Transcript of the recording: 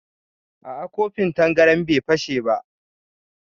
A'a kofin tangaran bai fashe ba